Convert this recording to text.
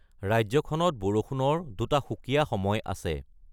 ৰাজ্যখনত বৰষুণৰ দুটা সুকীয়া সময় আছে: